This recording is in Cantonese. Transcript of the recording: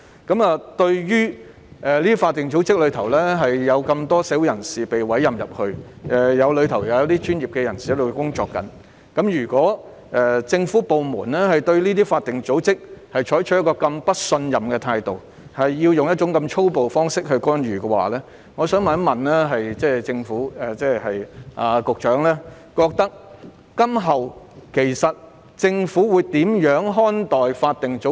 在這些法定組織中，有這麼多社會人士獲委任為成員，當中有專業人士，如果政府部門對這些法定組織採取這麼不信任的態度，使用這麼粗暴的方式干預，我想問局長，政府今後會如何看待法定組織？